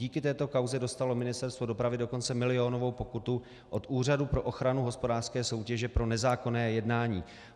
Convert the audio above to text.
Díky této kauze dostalo Ministerstvo dopravy dokonce milionovou pokutu od Úřadu pro ochranu hospodářské soutěže pro nezákonné jednání.